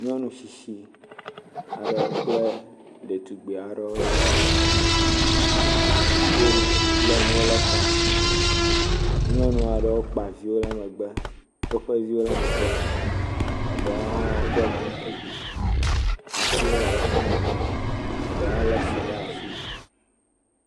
Nyɔnu tsitsi kple ɖetugbi aɖe wolé nu ɖe ta. Nyɔnu aɖewo kpa vi ɖe megbe. Woƒe viwo ɖe megbe. Eɖowo hã woɖɔ kuku. Atiwo le woƒe megbe. Eɖewo hã le tsi ɖe asi.